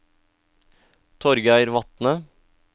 Torgeir Vatne